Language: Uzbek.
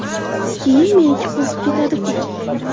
Keyin meniki qo‘zib ketadi-ku.